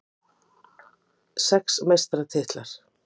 Það var von mín.